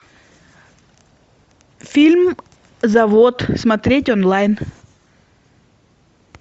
фильм завод смотреть онлайн